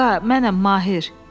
Qaqa, mənəm Mahir.